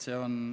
See on kõik.